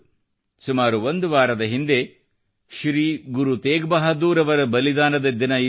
ಸುಮಾರು ಒಂದು ವಾರದ ಹಿಂದೆ ಶ್ರೀ ಗುರು ತೇಗ್ ಬಹಾದೂರ್ ಅವರ ಬಲಿದಾನದ ದಿನವಿತ್ತು